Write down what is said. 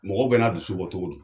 Mɔgɔ bɛɛ na dusu bɔ cogo don.